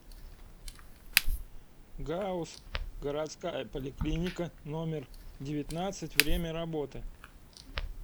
гауз городская поликлиника номер девятнадцать время работы